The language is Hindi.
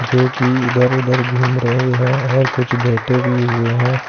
जो कि इधर उधर घूम रहे है और कुछ बैठे भी हुए हैं।